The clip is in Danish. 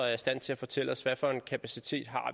er i stand til at fortælle os hvad for en kapacitet